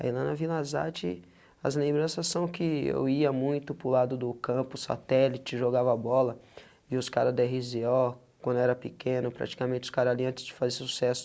Aí lá na Vila Zate, as lembranças são que eu ia muito para o lado do campo, satélite, jogava bola, vi os caras do erre zê ó, quando era pequeno, praticamente os caras ali antes de fazer sucesso,